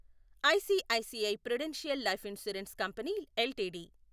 ICICI Prudential Life Insurance Company LTD